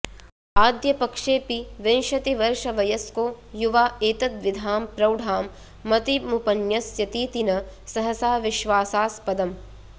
आद्यपक्षेऽपि विंशतिवर्षवयस्को युवा एतद्विधां प्रौढां मतिमुपन्यस्यतीति न सहसा विश्वासास्पदम्